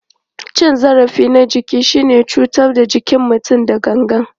Cin zarafi na jiki shine cutar da jikin mutum da gangan.